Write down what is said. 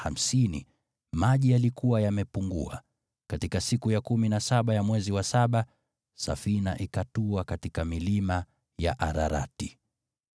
katika siku ya kumi na saba ya mwezi wa saba, safina ikatua katika milima ya Ararati.